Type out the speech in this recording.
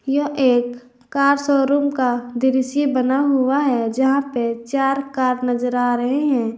यह एक car showroom का दृश्य बना हुआ है जहां पे चार कार नजर आ रहे हैं।